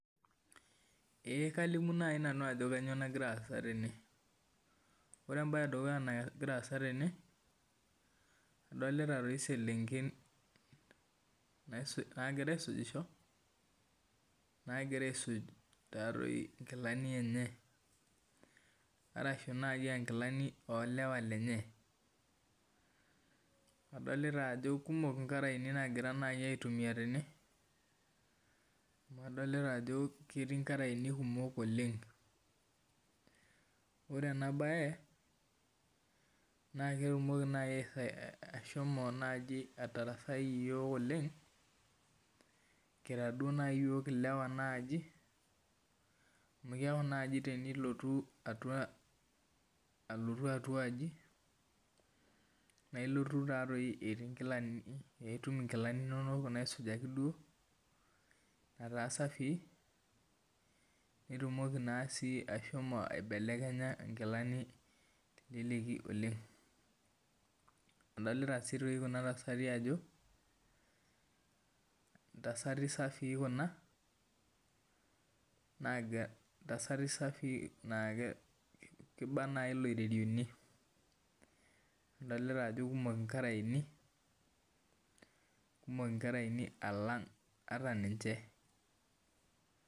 Ee kalimu nai ajo kanyio nagira aasa tene ore embae edukuya nagira aasa tene adolita selenken nagira aisujisho nagira aisuj nkilani enye arashu nai a nkilani o okera enye adolta ajo kekumok nkaraeni adolita ajo ketii nkaraeni kumok oleng ore enabae na ketumoki nai ashomo atarasai yiok oleng kira duo nai yiok ilewa amu keaku nai tenilotu atua aji nailotu nitum nkilani isujaetaa safii nitumoki si aibelekenya nkilani oleng adolta si kunabtasati ajo ntasati safii kuna nakiba nai loiterioni adolta ajo kumok nkaraeni alang ata ninche.